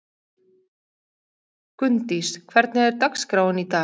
Gunndís, hvernig er dagskráin í dag?